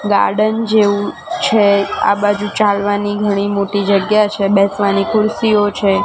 Garden જેવું છે આ બાજુ ચાલવાની ઘણી મોટી જગ્યા છે બેસવાની ખુરશીઓ છે.